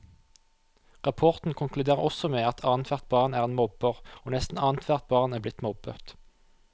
Rapporten konkluderer også med at annethvert barn er en mobber, og nesten annethvert barn er blitt mobbet.